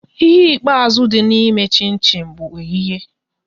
Ihe ikpeazụ dị na eme chin chin bụ oyighe